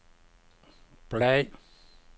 bladr